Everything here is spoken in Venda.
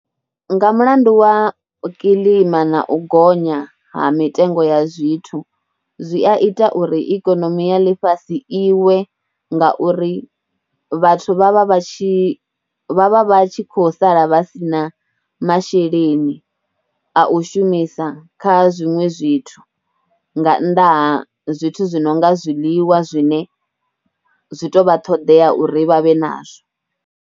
Nga mulandu wa kilima na u gonya ha mitengo ya zwithu zwi a ita uri ikonomi ya ḽifhasi iwe ngauri vhathu vha vha vha tshi, vha vha vha tshi kho sala vha si na masheleni a u shumisa kha zwiṅwe zwithu nga nnḓa ha zwithu zwi no nga zwiḽiwa zwine zwi tou vha ṱhoḓea uri vha vhe nazwo.